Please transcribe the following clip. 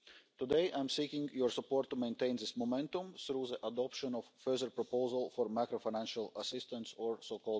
Today I am seeking your support to maintain this momentum through the adoption of a further proposal for macro financial assistance A